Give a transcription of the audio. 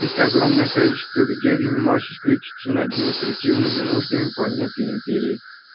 это огромное количество людей занималось исключительно административными нуждами планеты и империи